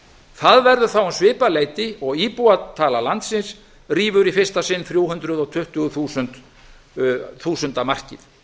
það verður þá um svipað leyti og íbúatala landsins rífur í fyrsta sinn þrjú hundruð tuttugu þúsunda markið